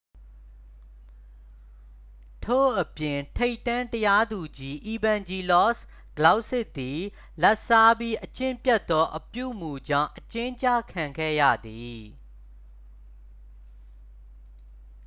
ထို့အပြင် ထိပ်တန်း တရားသူကြီး အီဗန်ဂျီလော့စ် ကလောက်စစ်သည် လာဘ်စားပြီး အကျင့်ပျက်သော အပြုအမူကြောင့် အကျဉ်းကျခံခဲ့ရသည်